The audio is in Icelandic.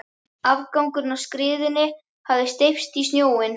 Afgangurinn af skriðunni hafði steypst í sjóinn.